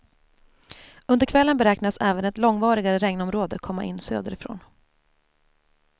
Under kvällen beräknas även ett långvarigare regnområde komma in söderifrån.